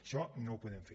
això no ho podem fer